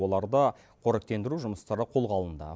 оларды қоректендіру жұмыстары қолға алынды